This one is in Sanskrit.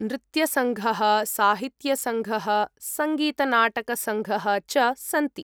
नृत्यसङ्घः, साहित्यसङ्घः, सङ्गीतनाटकसङ्घः च सन्ति।